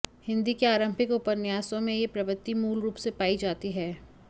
हिंदी के आरम्भिक उपन्यासों में यह प्रवृत्ति मूल रूप से पाई जाती है